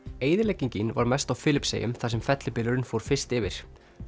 eyðileggingin var mest á Filippseyjum þar sem fellibylurinn fór fyrst yfir